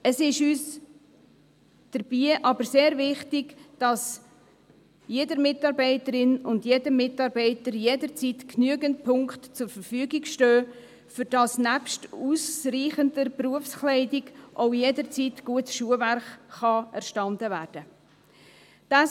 Es ist uns dabei aber sehr wichtig, dass jeder Mitarbeiterin und jedem Mitarbeiter jederzeit genügend Punkte zur Verfügung stehen, damit nebst ausreichender Berufskleidung auch jederzeit gutes Schuhwerk erstanden werden kann.